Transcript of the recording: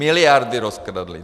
Miliardy rozkradli.